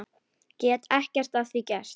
Get ekkert að því gert.